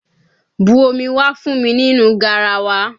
Bu omi wá fún mi nínú garawa!